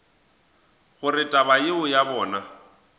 gore taba yeo ya bona